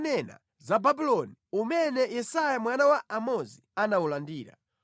Uthenga onena za Babuloni umene Yesaya mwana wa Amozi anawulandira: